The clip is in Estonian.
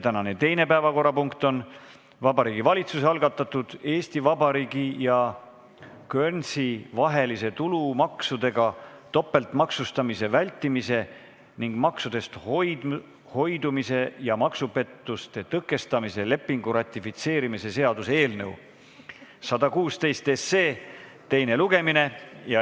Tänane teine päevakorrapunkt on Vabariigi Valitsuse algatatud Eesti Vabariigi ja Guernsey vahelise tulumaksudega topeltmaksustamise vältimise ning maksudest hoidumise ja maksupettuste tõkestamise lepingu ratifitseerimise seaduse eelnõu 116 teine lugemine.